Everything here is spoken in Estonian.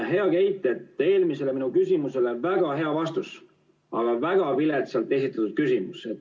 Hea Keit, eelmisele minu küsimusele väga hea vastus, aga väga viletsalt esitatud küsimus.